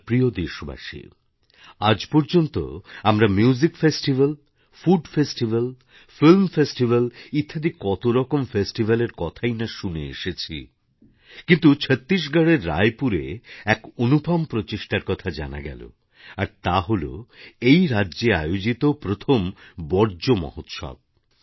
আমার প্রিয় দেশবাসী আজ পর্যন্ত আমরা মিউজিকফেস্টিভাল ফুডফেস্টিভাল ফিল্মফেস্টিভাল ইত্যাদি কতরকম ফেস্টিভাল এর কথাই না শুনে এসেছি কিন্তু ছত্তিশগড়ের রায়পুরে এক অনুপম প্রচেষ্টার কথা জানা গেল আর তা হল এই রাজ্যে আয়োজিত প্রথম বর্জ্য মহোৎসব